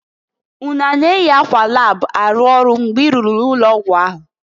Unu a na-eyi akwa lab arụ ọrụ mgbe i rụrụ n'ụlọ ọgwụ ahụ?